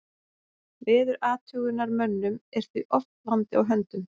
Veðurathugunarmönnum er því oft vandi á höndum.